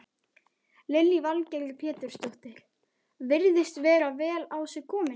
Lillý Valgerður Pétursdóttir: Virðist vera vel á sig kominn?